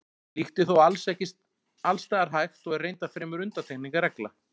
Slíkt er þó ekki alls staðar hægt og er reyndar fremur undantekning en regla.